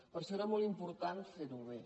per això era molt important fer ho bé